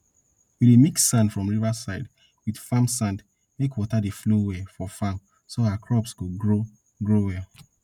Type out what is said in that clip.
we dey mix sand from riverside wit farm sand make water dey flow well for farm so our crops go grow grow well